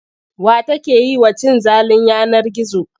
Wa take yi wa cin zalin yanar gizo?